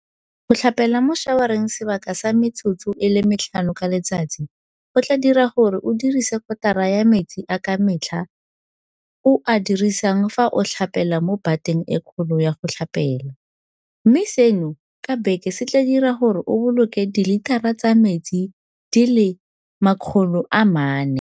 Go tlhapela mo šawareng sebaka sa metsotso e le metlhano ka letsatsi go tla dira gore o dirise kotara ya metsi a ka metlha o a dirisang fa o tlhapela mo bateng e kgolo ya go tlhapela, mme seno ka beke se tla dira gore o boloke dilitara tsa metsi di le 400.